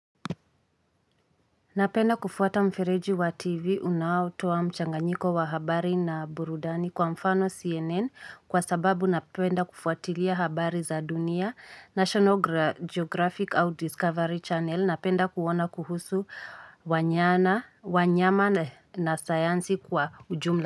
Napenda kufuata mfereji wa tv unaotoa mchanganyiko wa habari na burudani kwa mfano CNN kwa sababu napenda kufuatilia habari za dunia. National geographic au discovery channel napenda kuona kuhusu wanyama na sayansi kwa ujumla.